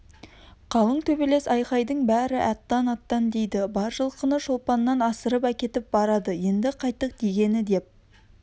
қалың төбелес айқайдың бәрі аттан-аттан дейді бар жылқыны шолпаннан асырып әкетіп барады енді қайттік дегені деп